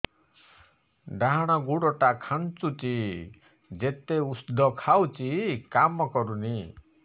ଡାହାଣ ଗୁଡ଼ ଟା ଖାନ୍ଚୁଚି ଯେତେ ଉଷ୍ଧ ଖାଉଛି କାମ କରୁନି